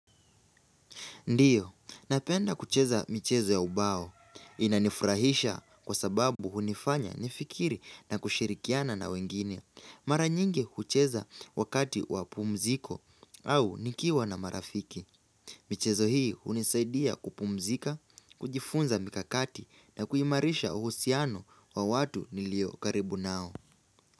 Ndiyo, napenda kucheza michezo ya ubao. Inanifurahisha kwa sababu hunifanya nifikiri na kushirikiana na wengine. Mara nyingi kucheza wakati wapumziko au nikiwa na marafiki. Michezo hii hunisaidia kupumzika, kujifunza mikakati na kuimarisha uhusiano wa watu nilio karibu nao.